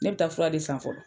Ne bɛ taa fura de san fɔlɔ.